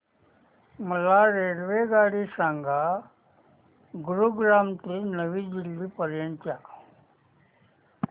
मला रेल्वेगाडी सांगा गुरुग्राम ते नवी दिल्ली पर्यंत च्या